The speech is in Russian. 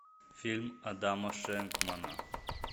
фильм адама шенкмана